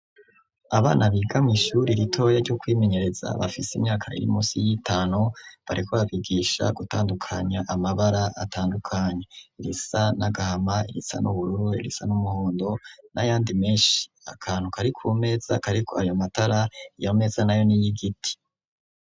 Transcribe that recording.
Abana biga mw'ishure ritoya ryo kwimenyereza bafise imyaika iri musi y'itanu bariko babigisha gutandukanya amabara atandukanye; irisa n'agahama, irisa n'ubururu, irisa n'umuhondo n'ayandi menshi. Akantu kari ku meza kariko ayo matara, iyo meza na yo ni iy'igiti.